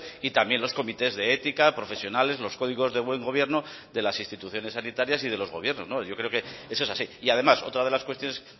y también los comités de ética profesionales los códigos de buen gobierno de las instituciones sanitarias y de los gobiernos yo creo que eso es así y además otra de las cuestiones